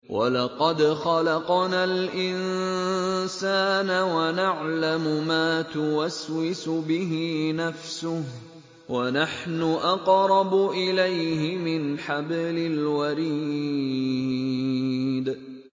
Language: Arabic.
وَلَقَدْ خَلَقْنَا الْإِنسَانَ وَنَعْلَمُ مَا تُوَسْوِسُ بِهِ نَفْسُهُ ۖ وَنَحْنُ أَقْرَبُ إِلَيْهِ مِنْ حَبْلِ الْوَرِيدِ